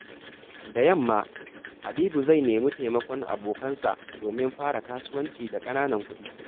Da yamma, Habibu zai nemi taimakon abokansa domin fara kasuwanci da ƙananan kuɗi.